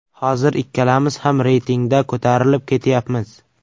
Hozir ikkalamiz ham reytingda ko‘tarilib ketyapmiz.